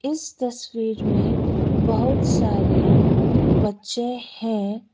इस तस्वीर में बहुत सारे बच्चे हैं।